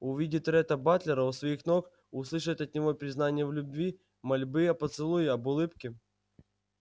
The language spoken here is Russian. увидеть ретта батлера у своих ног услышать от него признание в любви мольбы о поцелуе об улыбке